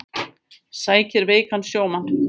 Sækir veikan sjómann